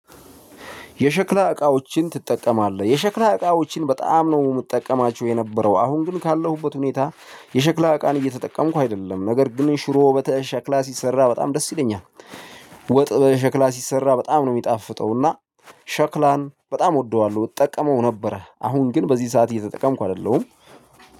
የሸክላ እቃዎችን ትጠቀማለህ? የሸክላ እቃዎችን በጣም ነው የምጠቀማቸው የነበረው አሁን ግን ካለሁበት ሁኔታ የሸክላ እቃን እየተጠቀምኩ አይደለም ነገር ግን ሽሮ በሸክላ ሲሰራ በጣም ደስ ይለኛል። ወጥ በሸክላ ሲሰራ በጣም ነው የሚጣፍጠው እና ሸክላን በጣም እወደዋለሁ። እጠቀመው ነበረ አሁን ግን በዚህ ሰዓት እየተጠቀምኩ አይደለሁም።